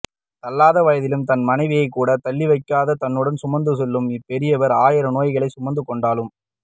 தள்ளாத வயதிலும் தன் மனைவியை கூட தள்ளிவைக்காது தன்னுடனே சுமந்து செல்லும் இவ் பெரியவர் ஆயிரம் நோய்களை சுமந்து கொண்டாலும்